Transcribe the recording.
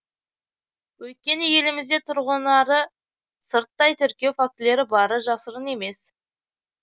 өйткені елімізде тұрғынарды сырттай тіркеу фактілері бары жасырын емес